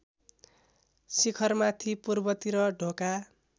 शिखरमाथि पूर्वतिर ढोका